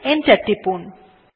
enter টিপুন